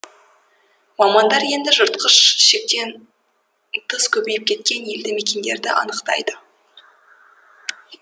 мамандар енді жыртқыш шектен тыс көбейіп кеткен елді мекендерді анықтайды